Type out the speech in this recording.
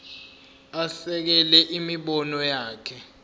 asekele imibono yakhe